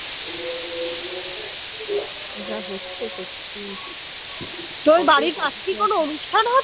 তোর বাড়ির পাশে কি কোন অনুষ্ঠান হচ্ছে